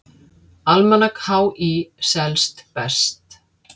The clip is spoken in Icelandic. Almanak HÍ selst best